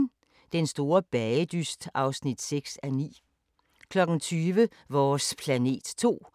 DR2